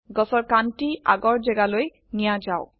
গছৰ কান্ডটি আগৰ যেগালৈ নিয়া যাওক